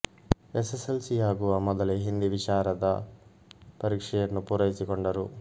S S L C ಯಾಗುವ ಮೊದಲೇ ಹಿಂದಿ ವಿಶಾರದ ಪರೀಕ್ಷೆಯನ್ನು ಪೂರೈಸಿಕೊಂಡರು